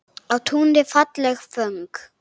Á túni falleg föng.